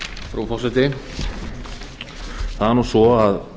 frú forseti það er nú svo að